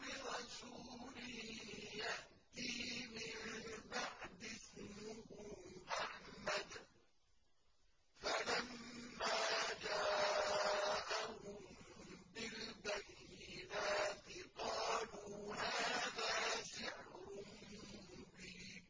بِرَسُولٍ يَأْتِي مِن بَعْدِي اسْمُهُ أَحْمَدُ ۖ فَلَمَّا جَاءَهُم بِالْبَيِّنَاتِ قَالُوا هَٰذَا سِحْرٌ مُّبِينٌ